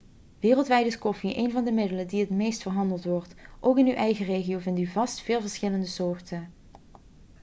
wereldwijd is koffie een van de middelen die het meest verhandeld worden ook in uw eigen regio vindt u vast veel verschillende soorten